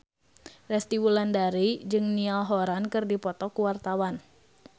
Resty Wulandari jeung Niall Horran keur dipoto ku wartawan